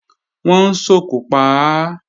Wọ́n ń sòkò pa á